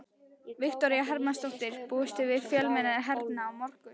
Viktoría Hermannsdóttir: Búist þið við fjölmenni hérna á morgun?